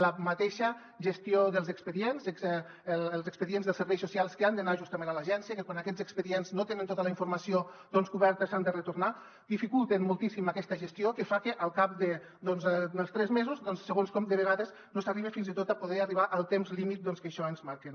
la mateixa gestió dels expedients els expedients dels serveis socials que han d’anar justament a l’agència que quan aquests expedients no tenen tota la informació coberta s’han de retornar dificulten moltíssim aquesta gestió que fa que al cap d’uns tres mesos segons com de vegades no s’arriba fins i tot a poder arribar al temps límit que per això ens marquen